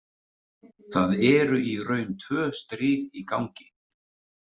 Það eru í raun tvö stríð í gangi.